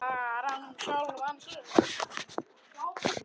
Bara um sjálfan sig.